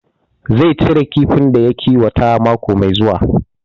Zai cire kifin da ya kiwata mako mai zuwa